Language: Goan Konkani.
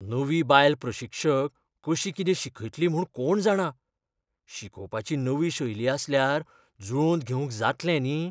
नवी बायल प्रशिक्षक कशी कितें शिकयतली म्हूण कोण जाणा! शिकोवपाची नवी शैली आसल्यार जुळोवन घेवंक जातलें न्ही?